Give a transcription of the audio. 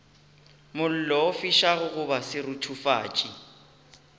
mollo o fišago goba seruthufatši